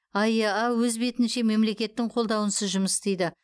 аэа өз бетінше мемлекеттің қолдауынсыз жұмыс істейді